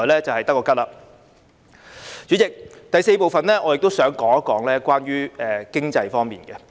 主席，在第四部分，我想說說經濟方面。